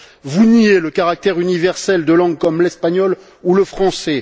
Vous niez le caractère universel de langues comme l'espagnol ou le français.